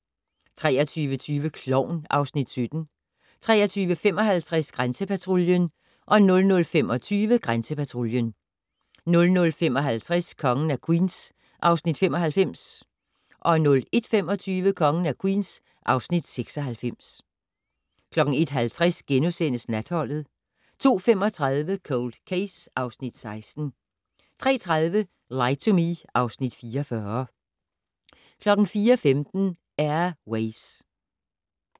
23:20: Klovn (Afs. 17) 23:55: Grænsepatruljen 00:25: Grænsepatruljen 00:55: Kongen af Queens (Afs. 95) 01:25: Kongen af Queens (Afs. 96) 01:50: Natholdet * 02:35: Cold Case (Afs. 16) 03:30: Lie to Me (Afs. 44) 04:15: Air Ways